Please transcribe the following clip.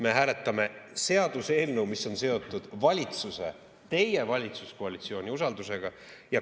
Me hääletame seaduseelnõu, mis on seotud valitsuse, teie valitsuskoalitsiooni usaldusega.